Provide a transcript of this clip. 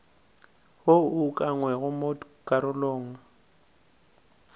wo o ukangwego mo karolong